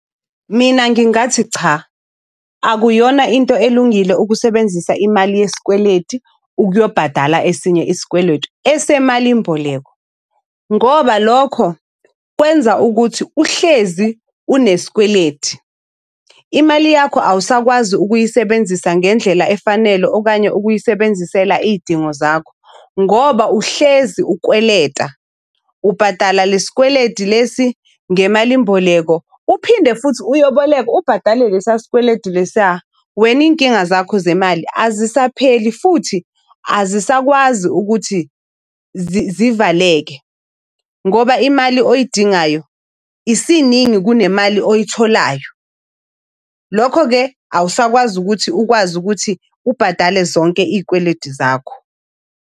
Mina ngingathi cha, akuyona into elungile ukusebenzisa imali yesikweleti ukuyobhadala esinye isikweletu esemalini mboleko, ngoba lokho kwenza ukuthi uhlezi unesikweleti. Imali yakho awusakwazi ukuyisebenzisa ngendlela efanele okanye ukuyisebenzisela iy'dingo zakho. Ngoba uhlezi ukweleta, ubhadala le sikweleti lesi ngemalimboleko uphinde futhi uyoboleka ubhadale lesa sikweleti lesiya. Wena iy'nkinga zakho zemali azisapheli futhi azisakwazi ukuthi zivaleke ngoba imali oyidingayo isiningi kunemali oyitholayo. Lokho-ke awusakwazi ukuthi ukwazi ukuthi ubhadale zonke iy'kweleti zakho.